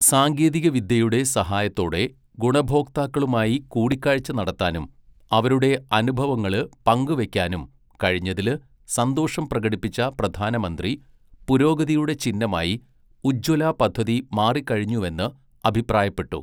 സാങ്കേതികവിദ്യയുടെ സഹായത്തോടെ ഗുണഭോക്താക്കളുമായി കൂടിക്കാഴ്ച നടത്താനും അവരുടെ അനുഭവങ്ങള് പങ്ക് വയ്ക്കാനും കഴിഞ്ഞതില് സന്തോഷം പ്രകടിപ്പിച്ച പ്രധാനമന്ത്രി, പുരോഗതിയുടെ ചിഹ്നമായി ഉജ്ജ്വല പദ്ധതി മാറിക്കഴിഞ്ഞുവെന്ന് അഭിപ്രായപ്പെട്ടു.